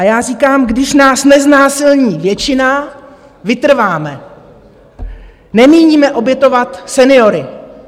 A já říkám: Když nás neznásilní většina, vytrváme, nemíníme obětovat seniory.